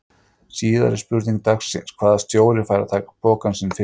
Síðari spurning dagsins: Hvaða stjóri fær að taka pokann sinn fyrstur?